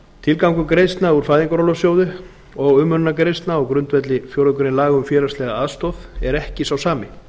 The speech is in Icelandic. tilgangur greiðslna úr fæðingarorlofssjóði og umönnunargreiðslna á grundvelli fjórðu grein laga um félagslega aðstoð er ekki sá sami